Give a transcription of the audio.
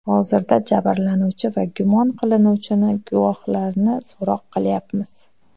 Hozirda jabrlanuvchi va gumon qilinuvchini, guvohlarni so‘roq qilyapmiz.